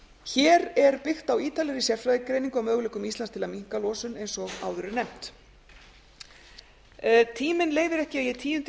hér er byggt á ítarlegri sérfræðigreiningu á möguleikum íslands til að minnka losun eins og áður er nefnt tíminn leyfir ekki að ég tíundi í